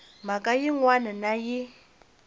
mhaka yin wana na yin